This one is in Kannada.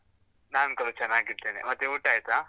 ನಾನ್ ಕೂಡ ಚನ್ನಾಗಿದ್ದೇನೆ, ಮತ್ತೆ ಊಟ ಆಯ್ತಾ?